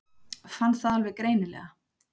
Fann það alveg greinilega.